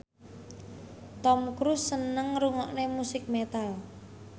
Tom Cruise seneng ngrungokne musik metal